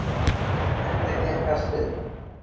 Enda gekk allt upp.